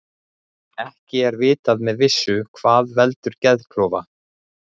Ekki er vitað með vissu hvað veldur geðklofa.